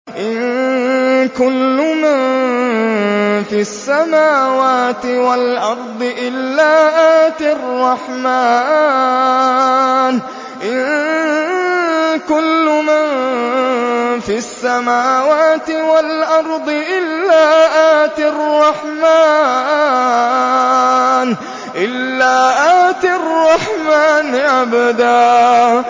إِن كُلُّ مَن فِي السَّمَاوَاتِ وَالْأَرْضِ إِلَّا آتِي الرَّحْمَٰنِ عَبْدًا